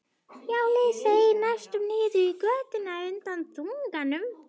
Hjólið seig næstum niður í götu undan þunganum.